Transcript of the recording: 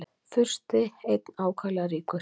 Fursti einn ákaflega ríkur.